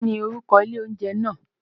Kín ni orúkọ ilé oúnjẹ náà?